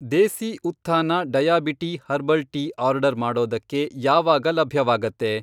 ದೇಸಿ Utthana diabetea herbal tea order ಮಾಡೋದಕ್ಕೆ ಯಾವಾಗ ಲಭ್ಯವಾಗತ್ತೆ?